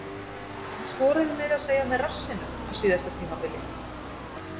Hann skoraði meira að segja með rassinum á síðasta tímabili.